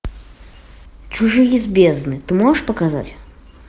чужие из бездны ты можешь показать